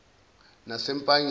nasempangeni